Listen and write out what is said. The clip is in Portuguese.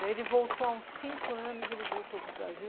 Daí ele voltou há uns cinco anos, ele voltou para o Brasil.